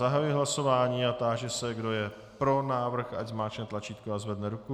Zahajuji hlasování a táži se, kdo je pro návrh, ať zmáčkne tlačítko a zvedne ruku.